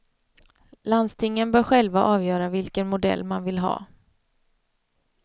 Landstingen bör själva avgöra vilken modell man vill ha.